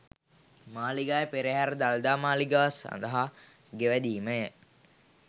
මාලිගාවේ පෙරහර දළදා මාලිගාව සඳහා ගෙවැදීමය.